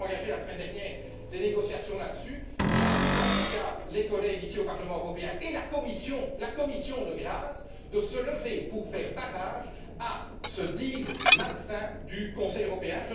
Nous avons engagé, la semaine dernière, les négociations sur ce sujet. J'invite, en tout cas, les collègues, ici, au Parlement européen, et la Commission, de grâce, à se lever pour faire barrage à ce deal malsain du Conseil européen.